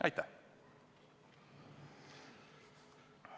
Aitäh!